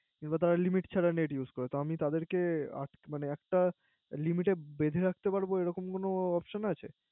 তারা Limit ছাড়া Net use করে। তা আমি তাদের কে একটা Limit এ বেধে রাখতে পারবো এরকম কোন Option আছে